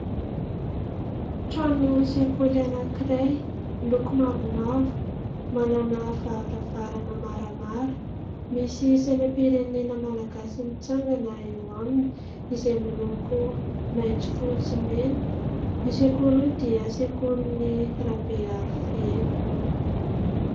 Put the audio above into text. Trano sekoly anankiray miloko mavomavo, manana varavarana maramara. Misy sainam-pirenena malagasy mitsangana eo aminy izay miloko maitso fotsy, mena. Io sekoly io dia sekolin'ny Rabearivelo.